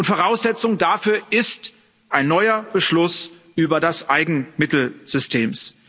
Voraussetzung dafür ist ein neuer Beschluss über das Eigenmittelsystem.